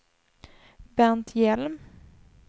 Bernt Hjelm